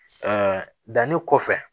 danni kɔfɛ